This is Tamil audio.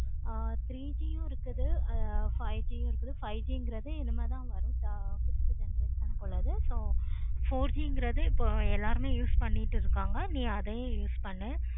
ஆஹ் three G யு இருக்கு. five G யு இருக்குது. five G கிறது இனிமேல் தான் வரும். ஆஹ் fifth generation க்கு உள்ளது. four G கிறது இப்போ எல்லாருமே use பண்ணிக்கிட்டு இருக்காங்க. நீ அதையும் use பண்ணு